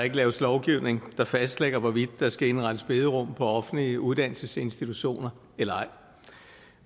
ikke laves lovgivning der fastlægger hvorvidt der skal indrettes bederum på offentlige uddannelsesinstitutioner eller ej